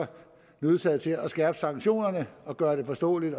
nødsaget til at skærpe sanktionerne og gøre det forståeligt